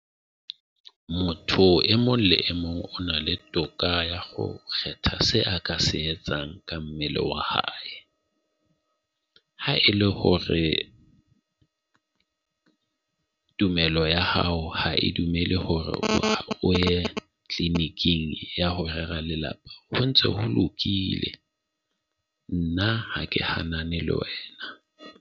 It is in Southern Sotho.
Motho e mong le mong o na le toka ya ho kgetha se a ka se etsang ka mmele wa hae. Ha e le hore tumelo ya hao ha e dumele hore o ye clinic-ing ya ho rera lelapa ho ntso holokile, nna ha ke hanane le wena.